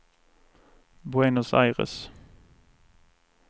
Buenos Aires